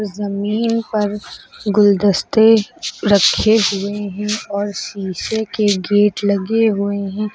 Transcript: जमीन पर गुलदस्ते रखे हुए हैं और शीशे के गेट लगे हुए हैं।